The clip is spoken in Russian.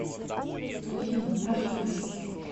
афина прошу вас